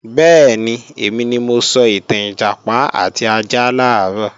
Bẹ́ẹ̀ni, èmi ni mo sọ ìtàn Ìjàpá àti ajá làárọ̀